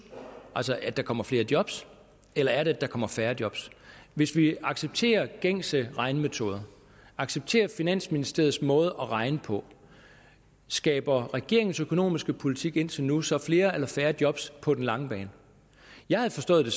altså at der kommer flere job eller er det at der kommer færre job hvis vi accepterer gængse regnemetoder og accepterer finansministeriets måde at regne på skaber regeringens økonomiske politik indtil nu så flere eller færre job på den lange bane jeg havde forstået